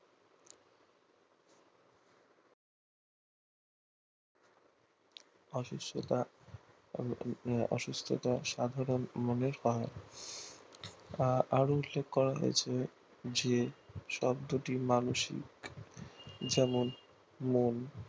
অসুস্থতা সাধারণ যে শব্দটি মানসিক যেমন মন